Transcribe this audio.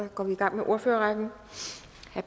så går vi i gang med ordførerrækken